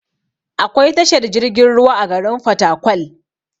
Akwai tashar jirgin ruwa a garin fatakwal